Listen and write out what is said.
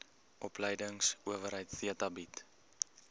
opleidingsowerheid theta bied